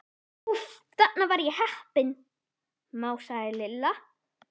Úff, þarna var ég heppin másaði Lilla.